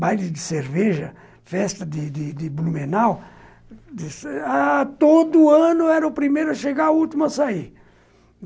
Baile de cerveja, festa de de de Blumenau ãh... Todo ano eu era o primeiro a chegar e o último a sair.